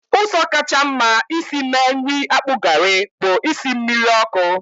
Ụzọ kacha mma isi mee nri akpu garri bụ isi mmiri ọkụ